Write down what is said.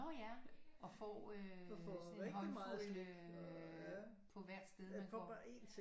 Nå ja og får øh sådan en håndfuld på hvert sted man får